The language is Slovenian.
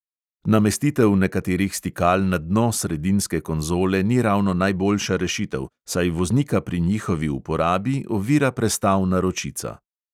Namestitev nekaterih stikal na dno sredinske konzole ni ravno najboljša rešitev, saj voznika pri njihovi uporabi ovira prestavna ročica.